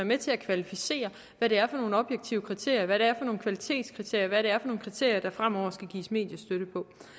med til at kvalificere hvad det er for nogle objektive kriterier hvad det er for nogle kvalitetskriterier hvad det er for nogle kriterier der fremover skal gives mediestøtte